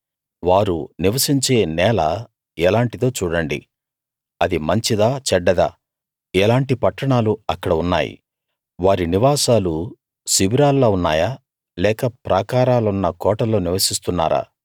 వారు నివసించే నేల ఎలాంటిదో చూడండి అది మంచిదా చెడ్డదా ఎలాంటి పట్టణాలు అక్కడ ఉన్నాయి వారి నివాసాలు శిబిరాల్లా ఉన్నాయా లేక ప్రాకారాలున్న కోటల్లో నివసిస్తున్నారా